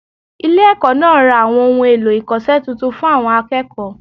Ile èkó náà ra àwọn ohun èlò-ìkose titun fun àwọn akéèkòó